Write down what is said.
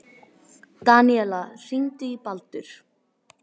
Daníela, hringdu í Baldur.